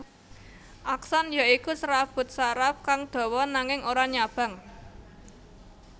Akson ya iku serabut saraf kang dawa nanging ora nyabang